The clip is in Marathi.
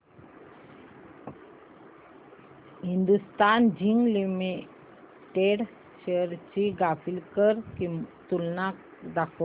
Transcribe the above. हिंदुस्थान झिंक लिमिटेड शेअर्स ची ग्राफिकल तुलना दाखव